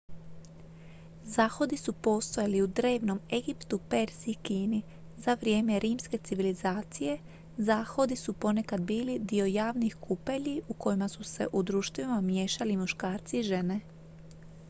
zahodi su postojali i u drevnom egiptu perziji i kini za vrijeme rimske civilizacije zahodi su ponekad bili dio javnih kupelji u kojima su se u društvima miješali i muškarci i žene